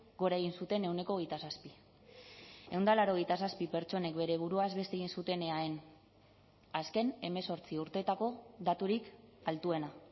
gora egin zuten ehuneko hogeita zazpi ehun eta laurogeita zazpi pertsonek bere buruaz beste egin zuten eaen azken hemezortzi urteetako daturik altuena